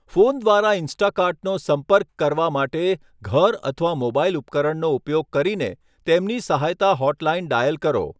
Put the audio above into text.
Phone દ્વારા ઇન્સ્ટાકાર્ટનો સંપર્ક કરવા માટે, ઘર અથવા મોબાઇલ ઉપકરણનો ઉપયોગ કરીને તેમની સહાયતા હોટલાઇન ડાયલ કરો.